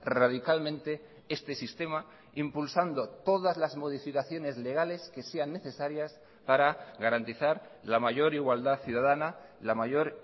radicalmente este sistema impulsando todas las modificaciones legales que sean necesarias para garantizar la mayor igualdad ciudadana la mayor